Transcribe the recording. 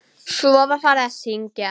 Svo var farið að syngja.